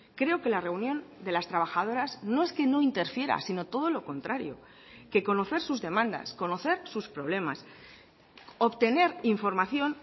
creo que la reunión de las trabajadoras no es que no interfiera sino todo lo contrario que conocer sus demandas conocer sus problemas obtener información